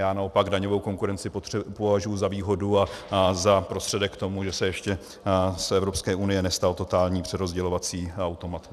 Já naopak daňovou konkurenci považuji za výhodu a za prostředek k tomu, že se ještě z Evropské unie nestal totální přerozdělovací automat.